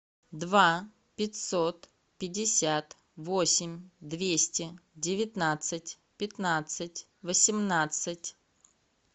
два пятьсот пятьдесят восемь двести девятнадцать пятнадцать восемнадцать